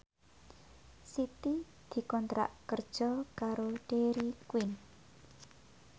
Siti dikontrak kerja karo Dairy Queen